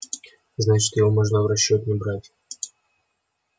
значит его можно в расчёт не брать